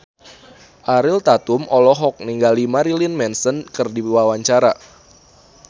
Ariel Tatum olohok ningali Marilyn Manson keur diwawancara